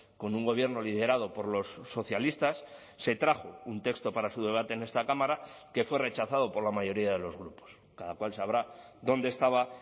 con un gobierno liderado por los socialistas se trajo un texto para su debate en esta cámara que fue rechazado por la mayoría de los grupos cada cual sabrá dónde estaba